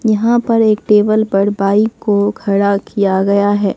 यहां पर एक टेबल पर बाइक को खड़ा किया गया है।